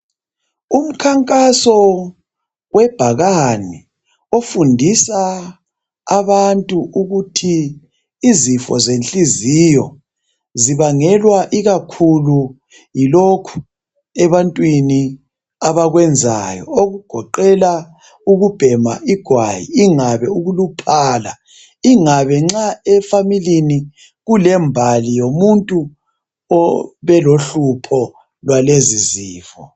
Umkhankaso webhakane ofundisa abantu ukuthi izifo zenhliziyo zibangelwa ikakhulu yilokhu ebantwini abakwenzayo. Okugoqela ukubhenga igwayi ingabe ukuluphala ingabe nxa efamini kulembali yomuntu obelohlupho lwalezi izinto.